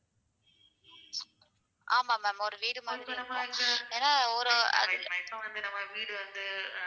ஆமா ma'am ஒரு வீடு மாறி தான் இருக்கும். ஏன்னா ஒரு